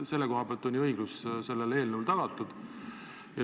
Selle koha pealt on ju õiglus selle eelnõuga tagatud.